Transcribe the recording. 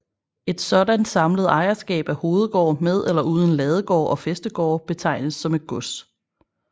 Et sådant samlet ejerskab af hovedgård med eller uden ladegård og fæstegårde betegnes som et gods